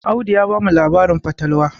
Audu ya bamu labarin fatalwa